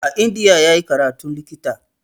A India ya yi karatun likita.